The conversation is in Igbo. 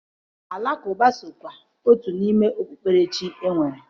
Alakụba sokwa otu n'ime okpukperechi e nwere.